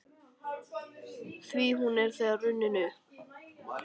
Því hún er nú þegar runnin upp.